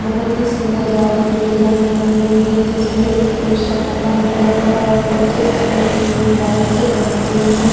बहुत ही सुंदर जाली की डिजाईन बनी हुई है जिसमे एक पोस्टर टंगा हुआ है और नीचे सामने की ओर बाइक्स खड़ी हुई है।